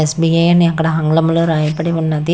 SBA అని అక్కడ ఆంగ్లంలో రాయబడి ఉన్నది.